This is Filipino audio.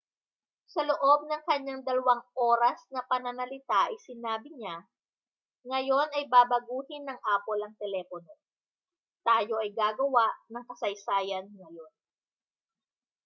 sa loob ng kanyang 2 oras na pananalita ay sinabi niya ngayon ay babaguhin ng apple ang telepono tayo ay gagawa ng kasaysayan ngayon